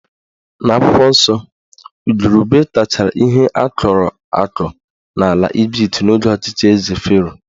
N'akwụkwọ nsọ, igurube tachara ihe akọrọ akọ n'ala Ịjipt n'oge ọchịchị Eze Fero